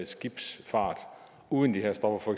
skibsfart uden de her stoffer